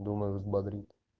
думаю взбодрит